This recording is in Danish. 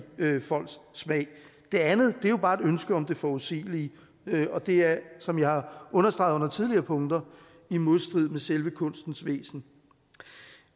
folks smag det andet er jo bare et ønske om det forudsigelige og det er som jeg har understreget under tidligere punkter i modstrid med selve kunstens væsen